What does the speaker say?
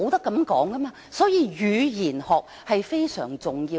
因此，語言學非常重要。